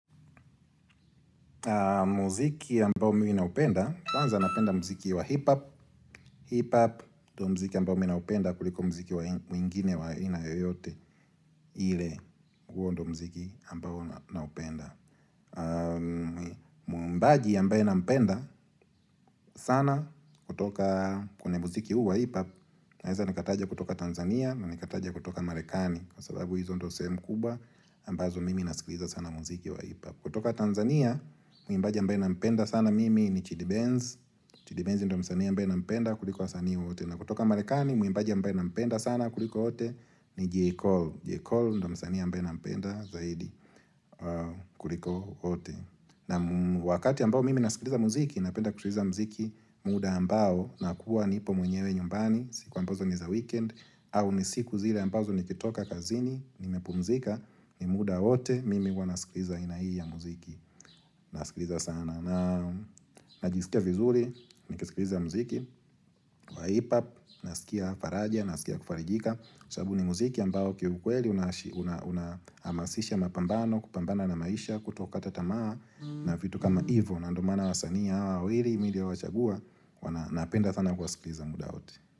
Muziki ambao mi ninaupenda, kwanza napenda muziki wa hip-hop hip-hop, ndo muziki ambao mi ninaupenda kuliko muziki wa mwingine wa aina yoyote ile, huo ndo muziki ambao naupenda Muimbaji ambaye nampenda sana kutoka kwenye muziki huu wa hip-hop Naeza nikataja kutoka Tanzania na nikataja kutoka Marekani. Kwa sababu hizo ndo sehemu kubwa ambazo mimi nasikiliza sana muziki wa hip-hop. Kutoka Tanzania, mwimbaji ambaye nampenda sana mimi ni Chidi Benz. Chidi Benz ndo msani ambaye nampenda kuliko wasanii wote. Na kutoka Marekani, mwimbaji ambaye na mpenda sana kuliko wote ni J Cole Jekol ndo msani ambaye na mpenda zaidi kuliko ote. Na wakati ambao mimi nasikiliza muziki, napenda kutuliza muziki muda ambao na kuwa nipo mwenyewe nyumbani, siku ambazo ni za weekend au ni siku zile ambazo nikitoka kazini nimepumzika ni muda wote mimi huwa nasikiliza aina hii ya muziki. Nasikiliza sana Najisikia vizuri Nikisikiliza muziki wa hip-hop Nasikia faraja Nasikia kufarijika sababu ni muziki ambao kiukweli Unahamasisha mapambano kupambana na maisha kutoka hata tamaa na vitu kama hivo. Na ndio maana wasaniii hawa wawili Mi nilio wachagua wana napenda sana kuwasikiliza muda wote.